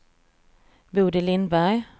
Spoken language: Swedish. Bodil Lindberg